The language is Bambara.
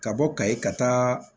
Ka bɔ kayi ka taa